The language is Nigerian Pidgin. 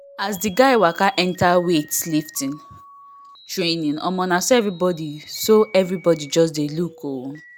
as the guy waka enter weight lifting training omo na so everybody so everybody just dey look o